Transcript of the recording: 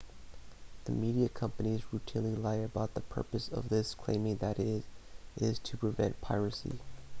the media companies routinely lie about the purpose of this claiming that it is to prevent piracy